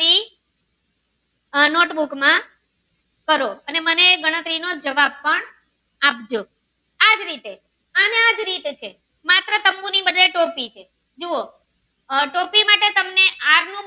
આહ note book માં માં કરો અને મને એ ગણતરી નો જવાબ પણ આપજો આ જ રીતે આ ને આ જ રીતે છે માત્ર શંકુ ની જગ્યા એ ટોપી છે જુઓ આહ ટોપી માટે તમને આર નું